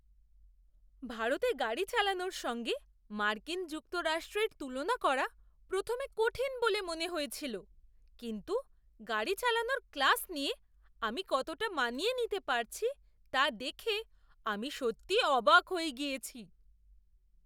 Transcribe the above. ভারতে গাড়ি চালানোর সঙ্গে মার্কিন যুক্তরাষ্ট্রের তুলনা করা প্রথমে কঠিন বলে মনে হয়েছিল, কিন্তু গাড়ি চালানোর ক্লাস নিয়ে, আমি কতটা মানিয়ে নিতে পারছি তা দেখে আমি সত্যিই অবাক হয়ে গিয়েছি!